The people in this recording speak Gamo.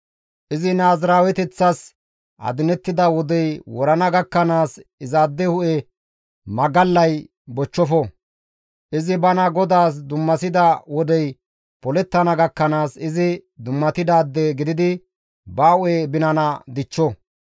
« ‹Izi naaziraaweteththas adinettida wodey wurana gakkanaas izaade hu7e binana magallay bochchofo; izi bana GODAAS dummasida wodey polettana gakkanaas izi dummatidaade gididi ba hu7e binana dichcho.